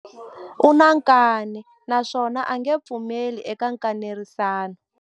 U na nkani naswona a nge pfumeli eka nkanerisano.